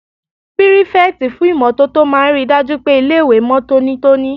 Pírífẹ̀tì fún ìmótótó máa n ríi dájú pé ilé-ìwé mọ́ tónítóní